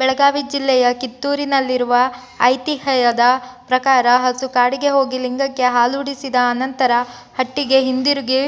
ಬೆಳಗಾವಿ ಜಿಲ್ಲೆಯಕಿತ್ತೂರಿನಲ್ಲಿರುವಐತಿಹ್ಯದ ಪ್ರಕಾರ ಹಸು ಕಾಡಿಗೆ ಹೋಗಿ ಲಿಂಗಕ್ಕೆ ಹಾಲೂಡಿಸಿದ ಆನಂತರ ಹಟ್ಟಿಗೆ ಹಿಂದಿರುಗಿ